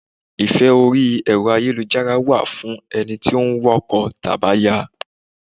Ìfẹ́ orí Ẹ̀rọ ayélujára wà fún ẹni tí ó ń wá ọkọ tàbí aya.